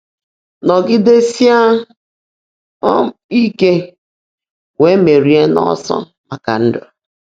Nọgidesie um Ike, wee merie n'ọsọ maka ndụ